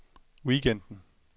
weekenden